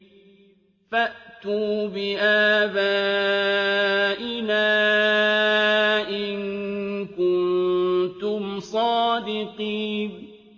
فَأْتُوا بِآبَائِنَا إِن كُنتُمْ صَادِقِينَ